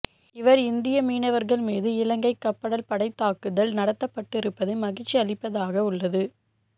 இவர் இந்திய மீனவர்கள் மீது இலங்கை கப்படல் படைதாக்குதல் நடத்தப்பட்டிருப்பது மகிழ்ச்சி அளிப்பதாக உள்ளது